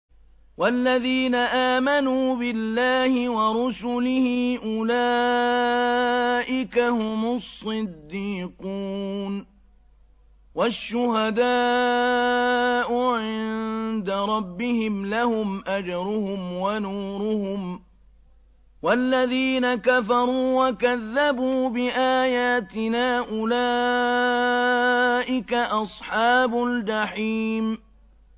وَالَّذِينَ آمَنُوا بِاللَّهِ وَرُسُلِهِ أُولَٰئِكَ هُمُ الصِّدِّيقُونَ ۖ وَالشُّهَدَاءُ عِندَ رَبِّهِمْ لَهُمْ أَجْرُهُمْ وَنُورُهُمْ ۖ وَالَّذِينَ كَفَرُوا وَكَذَّبُوا بِآيَاتِنَا أُولَٰئِكَ أَصْحَابُ الْجَحِيمِ